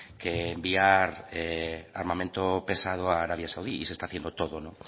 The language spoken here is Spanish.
que enviar armamento pesado a arabia saudí y se está haciendo todo no